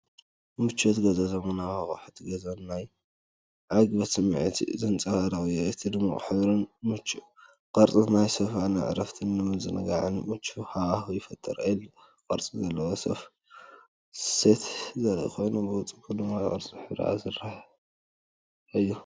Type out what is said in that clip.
ምቾት ገዛ፡ ዘመናዊ ኣቑሑት ገዛን ናይ ዕግበት ስምዒትን ዘንጸባርቕ እዩ። እቲ ድሙቕ ሕብርን ምቹእ ቅርጽን ናይቲ ሶፋ ንዕረፍትን ምዝንጋዕን ምቹእ ሃዋህው ይፈጥር።"L" ቅርጺ ዘለዎ ሶፋ ሴት ዘርኢ ኮይኑ፡ ብቐንዱ ብድሙቕ ኣራንሺ ሕብሪ ዝተሰርሐ እዩ።